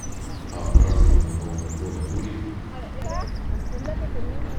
а празднование нового года будет